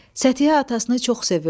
Səthihə atasını çox sevirdi.